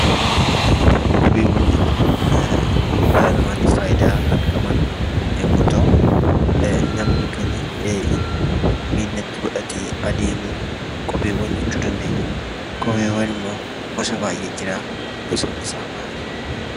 Kopheewwan jechuun dhala namaatiif faayidaa kan qaban yommuu ta'u, namni kan miilatti godhatee adeemu kopheewwan jechuu dandeenya. Kopheewwan immoo gosa baay'eetu jira. Gosoonni isaa maali?